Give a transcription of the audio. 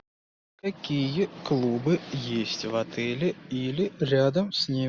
какие клубы есть в отеле или рядом с ним